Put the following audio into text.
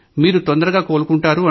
మీరు తొందరగా కోలుకుంటారు